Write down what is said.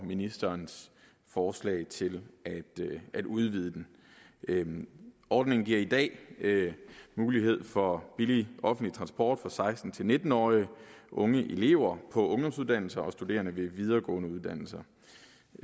ministerens forslag til at at udvide den den ordningen giver i dag mulighed for billig offentlig transport for seksten til nitten årige unge elever på ungdomsuddannelser og studerende ved videregående uddannelser